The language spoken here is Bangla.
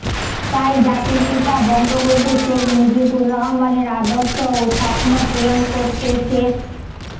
তাই জাতির পিতা বঙ্গবন্ধু শেখ মুজিবুর রহমানের আদর্শ ও স্বপ্ন পূরণ করতে শেখ